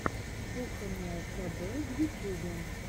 кухонное кб в ютьюбе